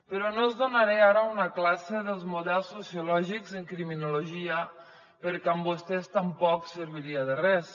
però no els donaré ara una classe dels models sociològics en criminologia perquè amb vostès tampoc serviria de res